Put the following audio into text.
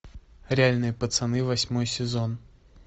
реальные пацаны восьмой сезон